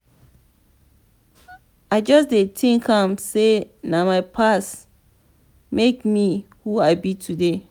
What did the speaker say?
i just dey tink am sey na my past make me who i be today.